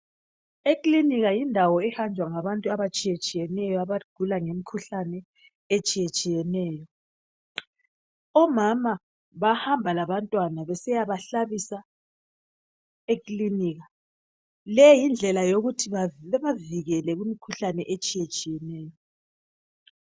Ekilinika yindawo ehanjwa ngabantu abatshiyetshiyeneyo ,abagula ngemikhuhlane etshiyetshiyeneyo. Omama bahamba labantwana besiyabahlabisa ekilinika, leyindlela yokuthi babavikele kumikhuhlane etshiyetshiyeneyo.